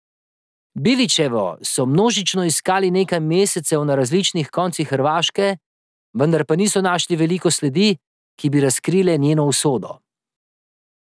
Bilićevo so množično iskali nekaj mesecev na različnih koncih Hrvaške, vendar pa niso našli veliko sledi, ki bi razkrile njeno usodo.